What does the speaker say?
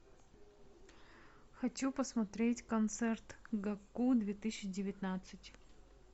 хочу посмотреть концерт гакку две тысячи девятнадцать